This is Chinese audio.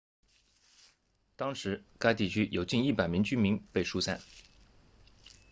当时该地区有近100名居民被疏散